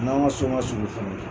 A n'an ka so ma surun. fana.